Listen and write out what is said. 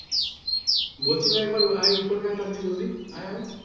বলছি ভাই একবার আই উপরে তারাতারি আই জলদি আই আই